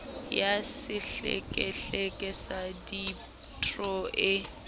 ya sehlekehleke sa deidro e